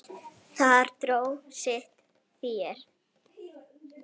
Þar dró hver sitt fé.